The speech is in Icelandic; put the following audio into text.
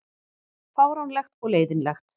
Fáránlegt og leiðinlegt